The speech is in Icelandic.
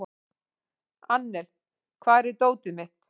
Annel, hvar er dótið mitt?